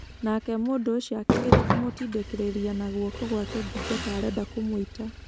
Naake mũndũ ũcio akĩgeria kũmũtindĩkĩrĩria na guoko gwake ngingo ta arenda kũmũita.